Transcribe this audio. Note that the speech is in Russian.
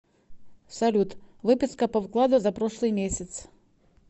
салют выписка по вкладу за прошлый месяц